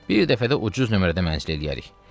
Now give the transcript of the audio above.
Bir dəfə də ucuz nömrədə mənzil eləyərik.